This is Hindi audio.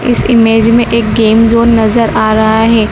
इस इमेज में एक गेम जोन नजर आ रहा है।